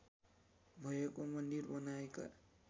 भएको मन्दिर बनाएका